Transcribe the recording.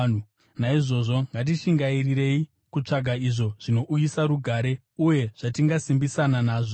Naizvozvo ngatishingairirei kutsvaga izvo zvinouyisa rugare uye zvatingasimbisana nazvo.